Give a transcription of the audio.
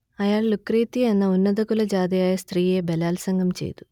അയാൾ ലുക്രേത്തിയ എന്ന ഉന്നതകുലജാതയായ സ്ത്രീയെ ബലാത്സംഗം ചെയ്തു